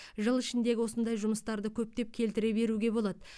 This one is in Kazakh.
жыл ішіндегі осындай жұмыстарды көптеп келтіре беруге болады